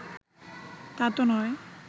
তাতো নয়